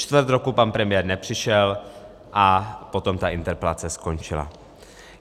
Čtvrt roku pan premiér nepřišel a potom ta interpelace skončila.